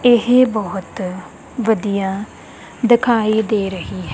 ਏਹ ਬੋਹੁਤ ਵਧੀਆ ਦਿਖਾਈ ਦੇ ਰਹੀ ਹੈ।